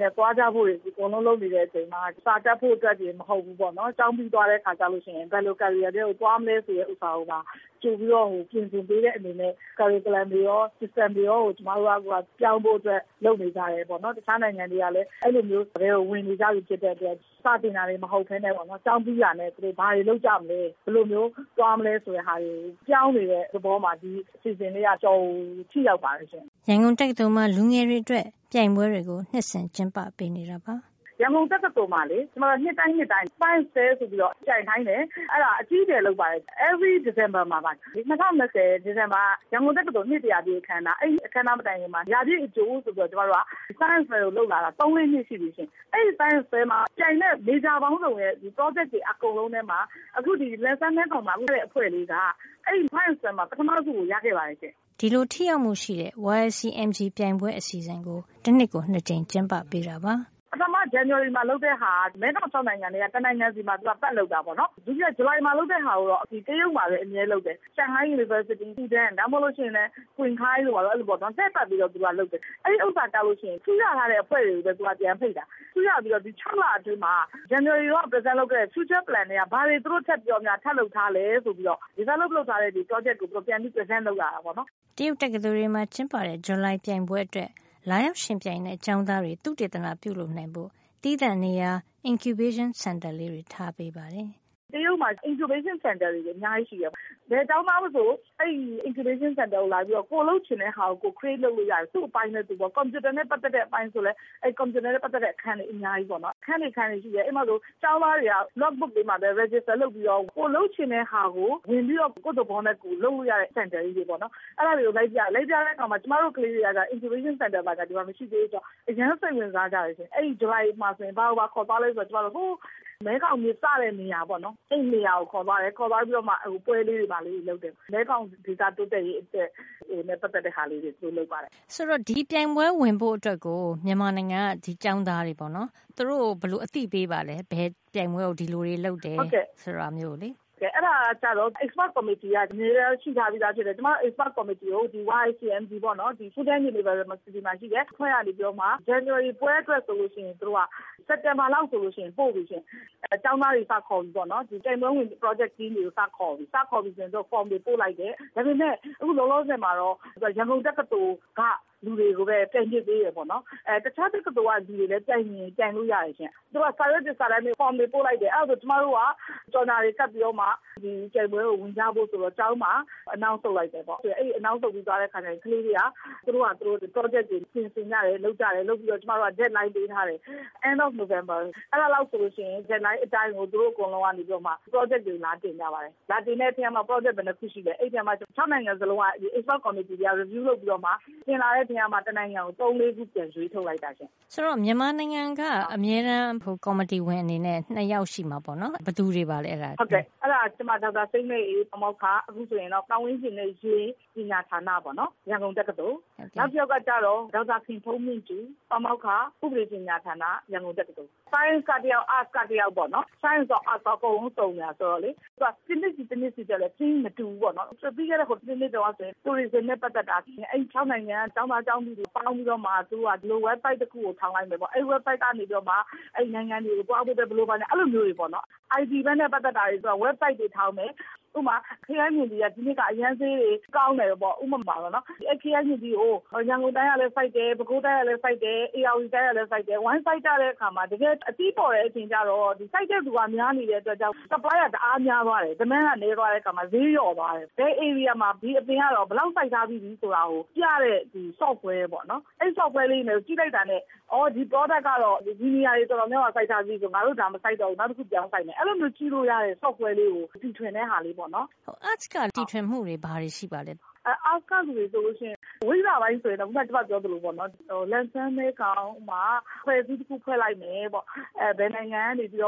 နဲ့ သွားကြဖို့တွေ အကုန်လုံး လုပ်နေတဲ့ အချိန်မှာ စာတတ်ဖို့တင် မဟုတ်ဖူးပေါ့၊ ဒီကျောင်းပြီးသွားတဲ့ အခါကျလို့ ရှိရင် ဘယ်လို အသက်မွေးဝမ်းကျောင်း လုပ်မလဲ ဆိုတာကိုပါ ကြိုပြီးတော့ စီစဉ်ပေးတဲ့ အနေနဲ့ curriculum သင်ရိုး ညွှန်းတမ်းတွေရော system - စံနစ်တွေကိုပါ ပြောင်းဖို့ အတွက် လုပ်နေကြတယ် ပေါ့နော်။ တခြား နိုင်ငံတွေကလည်း အဲဒီ ပုံစံထဲ ဝင်နေကြပြီ ဆိုတော့ စာသင်တာတင် မဟုတ်ပဲ ကျောင်းပြီးတာနဲ့ ဘာတွေ လုပ်ကြမလဲ ဘယ်လိုပုံစံ သွားမလဲ ဆိုတာတွေ ပြောင်းနေတဲ့ သဘောမှာ ဒီအစီစဉ် ကလေးက အတော်ကို ထိရောက်ပါတယ်ရှင့်။ ရန်ကုန်တက္ကသိုလ်မှာလေ ကျမတို့က နှစ်တိုင်းနှစ်တိုင်း သိပ္ပံပြပွဲ science fair ဆိုပြီးတော့ ပြိုင်ခိုင်းတယ်။ အဲဒါ အကြီးအကျယ် လုပ်ပါတယ်ရှင့်။ ဒီဇင်ဘာ လတိုင်းမှာ လုပ်ပါတယ်။ ၂၀၂၀က ရန်ကုန်တက္ကသိုလ် နှစ် တရာပြည့်အခန်းအနား။ အဲဒီ အခန်းအနား မတိုင်ခင်မှာ ရာပြည့်အကြို ဆိုပြီးတော့ ကျမတို့က သိပ္ပံပြပွဲ ကို လုပ်လာတာ ၃- ၄ နှစ် ရှိပြီရှင့်။ အဲဒီ science fair မှာ ပြိုင်တဲ့ မေဂျာပေါင်းစုံရဲ့ ပရောဂျက်တွေ အကုန်လုံးထဲမှာ အခုဒီ လန်ချန်း- မဲခေါင်မှာ ဆုရတဲ့ အဖွဲ့ကလေးက အဲဒီသိပ္ပံပြပွဲမှာ ပထမဆုကို ရခဲ့ပါတယ်ရှင့်။ ပထမ ဇန်နဝါရီမှာ လုပ်တာက မဲခေါင် ၆ နိုင်ငံထဲက တနိုင်ငံစီမှာ ပတ်လုပ်တာ ပေါ့နော်။ ဒုတိယ ဇူလိုင်မှာ လုပ်တာကိုတော့ အမြဲတမ်း တရုတ်မှာပဲ လုပ်တယ်။ ရှန်ဟိုင်း တက္ကသိုလ်၊ ဖူကျန်း တက္ကသိုလ် ဒါမှမဟုတ်ရင် ကျင်ဟိုင်းတို့ ဘာတို့ပေါ့နော် အဲဒီလို လှည့်ပြီး လုပ်ပါတယ်။ အဲဒီမှာ ကျရင် ဆုရထားတဲ့ အဖွဲ့တွေကိုပဲ သူက ပြန်ဖိတ်ပါတယ်။ ဆုရပြီးတော့ သူတို့က ဒီ ၆ လ အတွင်းမှာ ဇန်နဝါရီလတုန်းက သူတို့ တင်သွင်းခဲ့တဲ့ future plan နောင်လုပ်မယ့် အစီအစဉ် ထဲကနေ ဘာတွေများ သူတို့ ထပ်ပြီးတော့ လုပ်ထားသလဲ ဆိုပြီးတော့ အဲဒါကို ဆက်ပြီး တင်ပြတာ - present လုပ်တာ။ အဲဒါကျတော့ develop လုပ်ထားတဲ့ ပရောဂျက်တွေကို ပြန်ပြီး တင်ပြရတာပေါ့။ တရုတ်မှာ incubation center တွေ အများကြီးရှိတယ်။ ဘယ်ကျောင်းသား မဆို အဲဒီ စင်တာကို လာပြီးတော့ ကိုယ်လုပ်ချင်တဲ့ဟာကို ကိုယ်ဖန်တီးလို့ ရတယ်ရှင့်။ သူ့ အပိုင်းနဲ့ သူ။ ကွန်ပြူတာနဲ့ပတ်သက်တဲ့ အပိုင်း ဆိုလို့ရှိရင်လည်း အဲဒီ ကွန်ပြုတာနဲ့ ပတ်သက်တဲ့ အခန်းပေါ့နော်။ အဲဒီမှာ အခန်းတွေ အခန်းတွေ အများကြီး ရှိတယ်။ အဲဒီမှာဆို ကျောင်းသားတွေက log book ကလေးတွေမှာ register မှတ်ပုံတင်လုပ်ပြီးတော့ ကိုယ်လုပ်ချင်တဲ့ ဟာကို ဝင်ပြီးတော့ လုပ်လို့ရတဲ့ အခန်းငယ် ကလေးတွေပေါ့။ အဲဒါတွေကို လိုက်ပြတယ်။ လိုက်ပြတဲ့အခါ ကျမတို့ကလေးတွေ အတွက်ဆို incubation center ဆိုတာ မရှိသေးတော့ သူတို့က အရမ်း စိတ်ဝင်စားကြတယ်။ အဲဒီ ဇူလိုင်ပွဲမှာ ဘယ်ကိုပါ ခေါ်သွားသလဲ ဆိုတော့ ဟိုး မဲခေါင်မြစ် စတဲ့နေရာပေါ့နော်။ အဲဒီနေရာကို ခေါ်သွားတယ်။ ခေါ်သွားပြီးတော့မှ ပွဲလေးတွေ ဘာလေးတွေ လုပ်တယ်။ မဲခေါင်ဒေသ တိုးတက်ရေးအတွက် နဲ့ ပတ်သက်တာလေးတွေ ပေါ့နော်။ ဒါဆို ဒီပြိုင်ပွဲ ဝင်ဖို့ အတွက် မြန်မာနိုင်ငံက ကျောင်းသားတွေဆို သူတို့ကို ဘယ်လို အသိပေးပါသလဲ။ ဒီပြိုင်ပွဲကို ဘယ်လိုတွေ လုပ်တယ်ဆိုတာ သိရအောင်။ အဲဒါကကျတော့၊ ဒီ expert ကော်မတီက အမြဲတမ်း ရှိထားပြီးသား ဖြစ်တယ်။ ကျမတို့ ကျွမ်းကျင်သူများ ကော်မတီကို YICMG - ဖူကျန်း တက္ကသိုလ်မှာ ရှိတဲ့ အဖွဲ့က နေပြီးတော့ ဇန်နဝါရီ ပွဲအတွက် ဆိုရင် စက်တင်ဘာလ လောက်ဆို ပို့ပြီရှင့်။ ကျောင်းသားတွေ စခေါ်ပြီ ပေါ့နော်။ ဒီ ပြိုင်ပွဲဝင် ပရောဂျက်တွေ စခေါ်ပြီ။ စခေါ်တော့ သူတို့ form တွေပို့လိုက်တယ်။ ဒါပေမယ့် အခု လောလောဆယ်မှာတော့ ရန်ကုန် တက္ကသိုလ်က လူတွေကိုပဲ ပြိုင်ခွင့် ပေးတယ် ပေါ့နော်။ တခြားတက္ကသိုလ် တွေကလည်း အဲဒီမှာ ပြိုင်ချင်ရင် ပြိုင်လို့ရတယ်ရှင့်။ သူတို့က စာရွက်စာတမ်းတွေ form တွေ ပို့လိုက်တယ်။ အဲဒါဆို ကျမတို့က ကြော်ညာတွေ ကပ်ပြီးတော့မှ ပြိုင်ပွဲကို ဝင်ကြဖို့ ဆိုပြီးတော့ ကျောင်းမှာ ကြေညာလိုက်တယ်။ အဲဒီလို ကြေညာပြီး ရင် ကလေးတွေက သူတို့ဟာ သူတို့ ပရောဂျက်တွေ ပြင်ဆင်ကြတယ်၊ လုပ်ကြတယ်။ ကျမတို့က နောက်ဆုံး သတ်မှတ်ရက် deadline ပေးထားတယ်။ ဒီဇင်ဘာ လကုန်ပေ့ါ။ အဲဒီလောက် ဆိုရင် သူတို့က သတ်မှတ်ရက် အတိုင်းပဲ ပရောဂျက်တွေကို လာတင်ကြပါတယ်။ အဲဒီလို လာတင်တဲ့ထဲမှာ ပရောဂျက် ဘယ်နှစ်ခု ရှိသလဲ။ အဲဒီထဲမှာ ၆ နိုင်ငံ စလုံးက ကော်မတီတွေက ပြန်သုံးသပ်ပြီး တင်လာတဲ့ထဲကမှ တနိုင်ငံကို ၃ - ၄ ခု ပြန်ရွေးထုတ်လိုက်တာ ရှင့်။ မြန်မာနိုင်ငံက အမြဲတမ်း ကော်မတီဝင် အနေနဲ့ ၂ ယောက် ရှိတာပေ့ါနော်။ ဘယ်သူတွေ ပါလဲ။ ဟုတ်ကဲ့။ အဲဒါက ကျမ ဒေါက်တာစိမ်းလဲ့အေး၊ ပါမောက္ခ၊ အခုဆိုရင်တော့ ပတ်ဝန်းကျင်နဲ့ရေ ပညာဌာန ပေါ့နော်။ ရန်ကုန်တက္ကသိုလ်။ နောက်တယောက်ကကျတော့ ဒေါက်တာ ခင်ဖုန်းမြင့်ကြူ၊ ပါမောက္ခ၊ ဥပဒေပညာဌာန၊ ရန်ကုန်တက္ကသိုလ်။ သိပ္ပံကတယောက် ဝိဇ္ဖာက တယောက်ပေါ့။ သိပ္ပံရော ဝိဇ္ဇာရော အကုန်စုံနေတယ် ဆိုတော့လေ။ သူက တနှစ်စီ တနှစ်စီ အတွက်လည်း Theme မတူဘူး။ ပြီးခဲ့တဲ့ တနှစ်တုန်းကဆို ခရီးသွား tourism နဲ့ ပတ်သက်တာ။ အဲဒီ ၆ နိုင်ငံက ကျောင်းသားကျောင်းသူတွေ၊ ပေါင်းပြီးတော့မှ သူတို့က website တခုကို ထောင်လိုက်တယ်ပေါ့။ အဲဒီ ဝဘ်ဆိုက်ကနေပြီးတော့မှာ အဲဒီ နိုင်ငံတွေကို သွားဖို့ အတွက်ပေါ့။ အဲဒီလို မျိုးတွေပေါ့နော်။ IT ဘက်နဲ့ ပတ်သက်တာတွေ ဆိုတော့ ဝဘ်ဆိုက်ကို ထောင်တယ်။ ဥပမာ ခရမ်းချဉ်သီးက ဒီနှစ်က အရမ်းဈေးတွေ ကောင်းတယ်ပေါ့။ ဥပမာပေါ့နော်။ အဲဒီ ခရမ်းချဉ်သီးကို ရန်ကုန်တိုင်းကလည်း စိုက်တယ်၊ ပဲခူးတိုင်းကလည်း စိုက်တယ်။ ဧရာဝတီတိုင်းကလည်း စိုက်တယ်၊ ဝိုင်းစိုက်ကြတဲ့ အခါမှာ တကယ်အသီးပေါ်တဲ့ အချိန်ကျတော့ စိုက်တဲ့သူက များနေတဲ့ အတွက်ကြောင့် ရောင်းလိုအား- supply က တအားများ သွားတယ်။ ဝယ်လိုအား - demand က နဲသွားတယ်။ အဲဒီအခါမှာ ဈေးလျော့ သွားတယ်။ ဘယ်ဧရိယာမှာ ဒီအပင် ကတော့ ဘယ်လောက် စိုက်ထားပြီးပြီ ဆိုတာကို ပြတဲ့ soft ware ပေါ့။ အဲဒီ software လေးတွေကို ကြည့်လိုက်တာနဲ့။ အော် ဒီ ထုတ်ကုန်ကတော့ ဒီနေရာတွေ တော်တော်များများမှာ စိုက်ထားပြီးပြီဆို ငါတို့ ဒါမစိုက်တော့ဘူး။ နောက်တခု ပြောင်းစိုက်မယ်။ အဲဒီလိုမျိုး ကြည့်လို့ရတဲ့ software လေးတွေ တီထွင်တဲ့ ဟာမျိုးပေါ့နော်။ ဝိဇ္ဖာပိုင်းက တီထွင်မှုတွေကရော ဘာတွေ ရှိပါသလဲ။ အဲ arts က လူတွေ ဆိုလို့ရှိရင် ဝိဇ္ဖာပိုင်း ဆိုလို့ရှိရင်၊ ခုန ပြောသလိုပေါ့နော်။ လန်ချန်း- မဲခေါင် မှာ အဖွဲ့အစည်း တခု ဖွဲ့လိုက်မယ်ပေါ့။ အဲဒါ ဘယ်နိုင်ငံကနေ ဘယ်